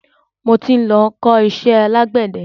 Mo tí ń lọ ń kọ iṣẹ́ alágbẹ̀de.